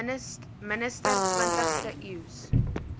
minister twintigste eeus